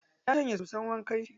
Ya shanya soson wankan shi.